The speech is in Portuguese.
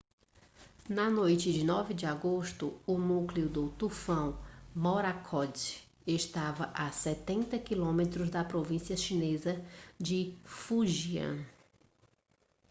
na noite de 9 de agosto o núcleo do tufão morakot estava a setenta quilômetros da província chinesa de fujian